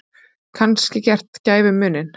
Kannski gert gæfumuninn.